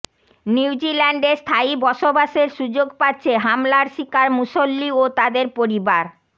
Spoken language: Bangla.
নিউজিল্যান্ডে স্থায়ী বসবাসের সুযোগ পাচ্ছে হামলার শিকার মুসল্লি ও তাদের পরিবার